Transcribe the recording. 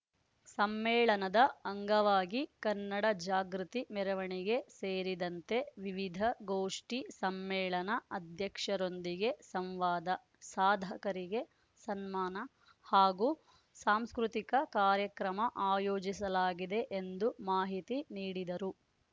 ಸಮ್ಮೇಳನದ ಅಂಗವಾಗಿ ಕನ್ನಡ ಜಾಗೃತಿ ಮೆರವಣಿಗೆ ಸೇರಿದಂತೆ ವಿವಿಧ ಗೋಷ್ಠಿ ಸಮ್ಮೇಳನ ಅಧ್ಯಕ್ಷರೊಂದಿಗೆ ಸಂವಾದ ಸಾಧಕರಿಗೆ ಸನ್ಮಾನ ಹಾಗೂ ಸಾಂಸ್ಕೃತಿಕ ಕಾರ್ಯಕ್ರಮ ಆಯೋಜಿಸಲಾಗಿದೆ ಎಂದು ಮಾಹಿತಿ ನೀಡಿದರು